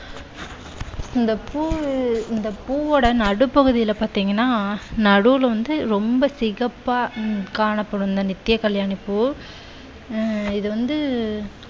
இந்த பூவ இந்த பூவோட நடு பகுதில பார்த்தீங்கண்ணா நடுவுல வந்து ரொம்ப சிகப்பா காணப்படும் இந்த நித்திய கல்யாணி பூ. ஆஹ் இது வந்து